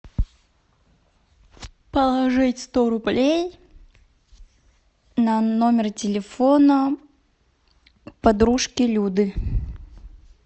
положить сто рублей на номер телефона подружки люды